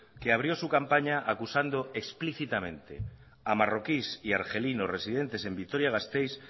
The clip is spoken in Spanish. que abrió su campaña acusando explícitamente a marroquíes y argelinos residentes en vitoria gasteiz